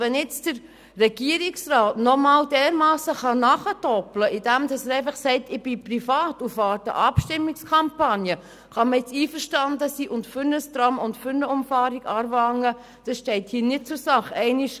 Wenn jetzt der Regierungsrat nochmals derart stark nachdoppeln kann, indem er eine private Abstimmungskampagne lanciert, dann kommt erneut die regierungsrätliche Macht zur Anwendung.